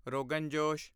ਰੋਗਨ ਜੋਸ਼